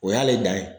O y'ale dan ye